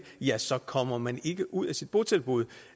ja så kommer man ikke ud af sit botilbud